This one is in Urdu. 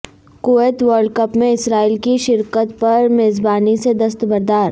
کویت ورلڈ کپ میں اسرائیل کی شرکت پر میزبانی سے دستبردار